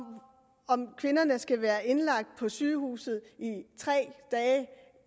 om kvinderne skal være indlagt på sygehuset i tre dage